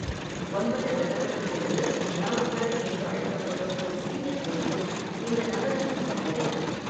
ஒன்பது கிரகங்களுக்கென்று நௌகர் என்று அழைக்கப்படும் ஒரு சிறிய கோயிலும் இந்த நகரத்தில் உள்ளது.